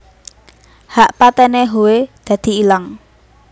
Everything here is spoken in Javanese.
Hak patene Howe dadi ilang